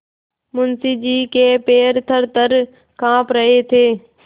मुंशी जी के पैर थरथर कॉँप रहे थे